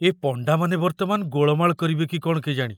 ଏ ପଣ୍ଡାମାନେ ବର୍ତ୍ତମାନ ଗୋଳମାଳ କରିବେ କି କ'ଣ କେଜାଣି!